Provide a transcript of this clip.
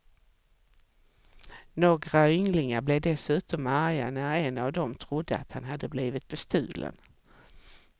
Några ynglingar blev dessutom arga när en av dem trodde att han hade blivit bestulen.